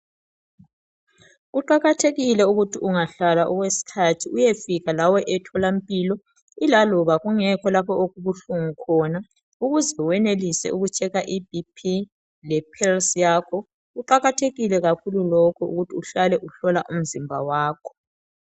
Kuqakathekile ukuthi ungahlala okweskhathi uyefika lawe etholampilo ilaloba kungekho lapho okubuhlungu khona ukuze wenelise ukutsheka iBP lephelis yakho. Kuqakathekile kakhulu lokho ukuthi uhlale uhlola umzimba wakho.